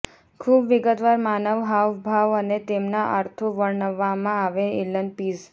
ખૂબ વિગતવાર માનવ હાવભાવ અને તેમના અર્થો વર્ણવવામાં આવે એલન પિઝ